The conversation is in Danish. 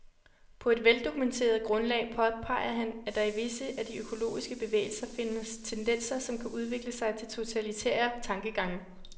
På et veldokumenteret grundlag påpeger han, at der i visse af de økologiske bevægelser findes tendenser, som kan udvikle sig til totalitære tankegange.